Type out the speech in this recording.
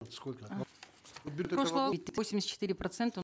сколько восемьдесят четыре процента